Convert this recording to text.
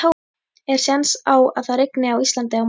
Er séns á að það rigni á Íslandi á morgun?